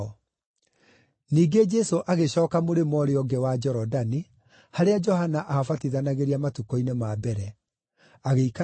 Ningĩ Jesũ agĩcooka mũrĩmo ũũrĩa ũngĩ wa Jorodani, harĩa Johana aabatithanagĩria matukũ-inĩ ma mbere. Agiĩkara kũu,